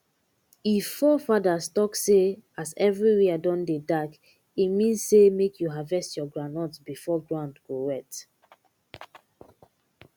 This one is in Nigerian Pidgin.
if fore fathers talk say as everywhere don dey dark e mean say make you harvest your groundnut before ground go wet